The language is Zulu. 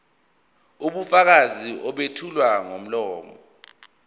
ubufakazi obethulwa ngomlomo